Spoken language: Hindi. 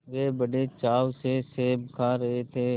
वे बड़े चाव से सेब खा रहे थे